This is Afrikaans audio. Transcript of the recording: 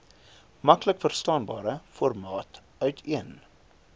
maklikverstaanbare formaat uiteen